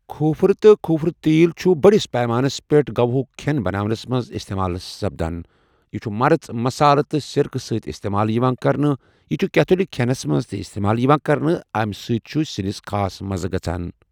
کھوٗپرٕ تہٕ کھوٗپرٕ تیٖل چھُ بٔڑِس پیمانَس پٮ۪ٹھ گوا ہُک کھٮ۪ن بناونَس منٛز اِستعمال سپدان۔ یہ چھُ مرٕژ، مصالہٕ تہٕ سِرکَہ سۭتۍ اِستعمال یِوان کرنہٕ۔ یہ چھُ کیتھولِک کھینس منٛز تہ استعمال یوان کرنہٕ امہ سۭتۍ چھُ سِنِس خاص مَزٕ گژھان۔